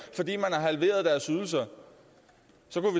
halveret deres ydelser